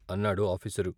" అన్నాడు ఆఫీసరు.